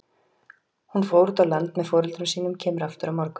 Hún fór út á land með foreldrum sínum, kemur aftur á morgun.